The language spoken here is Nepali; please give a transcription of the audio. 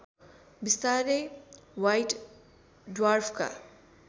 बिस्तारै व्हाइट ड्वार्फका